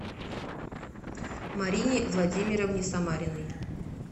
марине владимировне самариной